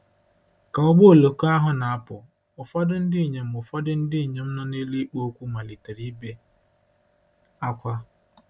Ka ụgbọ oloko ahụ na-apụ, ụfọdụ ndị inyom ụfọdụ ndị inyom nọ n'elu ikpo okwu malitere ibe ákwá.